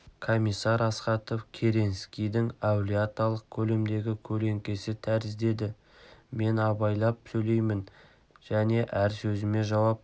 комиссар астахов керенскийдің әулие аталық көлемдегі көлеңкесі тәрізді еді мен абайлап сөйлеймін және әр сөзіме жауап